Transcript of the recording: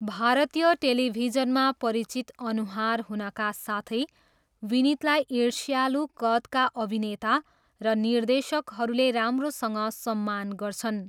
भारतीय टेलिभिजनमा परिचित अनुहार हुनका साथै विनीतलाई ईर्ष्यालु कदका अभिनेता र निर्देशकहरूले राम्रोसँग सम्मान गर्छन्।